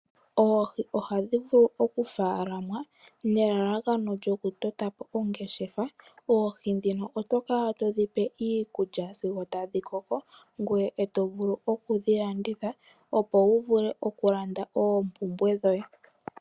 Oohi ohadhi vulu okufaalamwa nelalakano lyokutota po ongeshefa. Oohi ndhino oto kala to dhi pe iikulya sigo tadhi koko, ngoye e to vulu okudhi landitha opo wu vule okulanda oompumbwe dhoye.